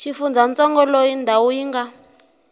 xifundzantsongo loyi ndhawu yi nga